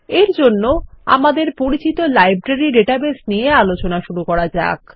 এরজন্যআমাদের পরিচিত library database নিয়ে আলোচনা শুরু করা যাক